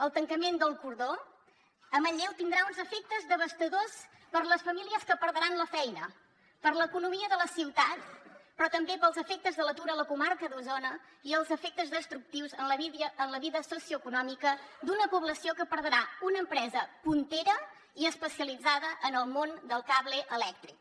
el tancament d’el cordó a manlleu tindrà uns efectes devastadors per a les famílies que perdran la feina per a l’economia de la ciutat però també pels efectes de l’atur a la comarca d’osona i els efectes destructius en la vida socioeconòmica d’una població que perdrà una empresa puntera i especialitzada en el món del cable elèctric